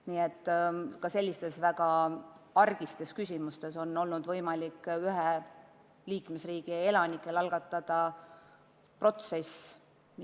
Nii et ka sellistes väga argistes küsimustes on ühe liikmesriigi elanikel võimalik mingi protsess algatada.